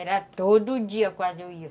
Era todo dia, quase eu ia.